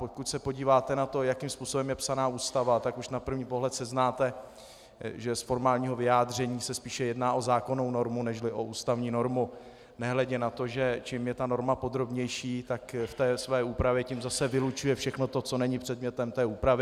Pokud se podíváte na to, jakým způsobem je psaná Ústava, tak už na první pohled seznáte, že z formálního vyjádření se spíše jedná o zákonnou normu než o ústavní normu, nehledě na to, že čím je ta norma podrobnější, tak v té své úpravě tím zase vylučuje všechno to, co není předmětem té úpravy.